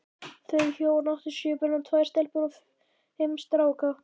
Þau hjón áttu sjö börn, tvær stelpur og fimm stráka.